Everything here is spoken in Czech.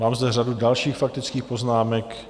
Mám zde řadu dalších faktických poznámek.